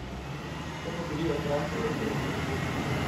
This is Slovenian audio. So pa bili otroci veseli!